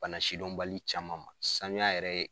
Bana sidɔnbali caman ma sanuya yɛrɛ ye